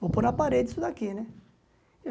Vou pôr na parede isso daqui, né?